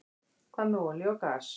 Hvað með olíu og gas?